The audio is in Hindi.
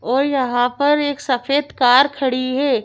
और यहाँ पर एक सफेद कार खड़ी है।